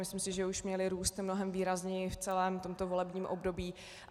Myslím si, že už měly růst mnohem výrazněji v celém tomto volebním období.